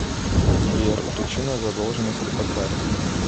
сбер причина задолженности по карте